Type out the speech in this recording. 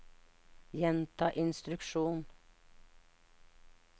gjenta instruksjon